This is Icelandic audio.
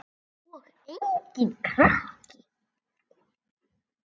Og enginn krakki!